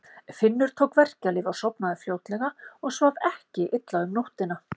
Finnur tók verkjalyf og sofnaði fljótlega og svaf ekki illa um nóttina.